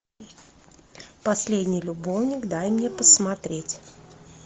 последний любовник дай мне посмотреть